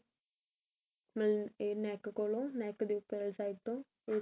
ਮਤਲਬ ਇਹ neck ਕੋਲੋ neck ਦੇ ਉਪਰ ਵਾਲੀ side ਤੋਂ ਇਹ